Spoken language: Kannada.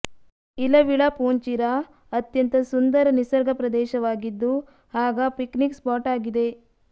ಇಲವಿಳಾಪೂಂಚಿರ ಅತ್ಯಂತ ಸುಂದರ ನಿಸರ್ಗ ಪ್ರದೇಶವಾಗಿದ್ದು ಹಾಗ ಪಿಕ್ನಿಕ್ ಸ್ಪಾಟ್ ಆಗಿದೆ